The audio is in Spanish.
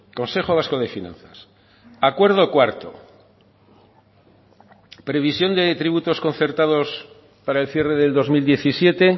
consejo vasco de finanzas acuerdo cuarto previsión de tributos concertados para el cierre del dos mil diecisiete